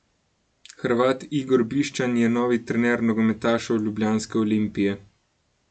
Hrvat Igor Bišćan je novi trener nogometašev ljubljanske Olimpije.